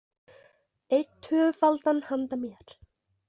Einn tvöfaldan handa mér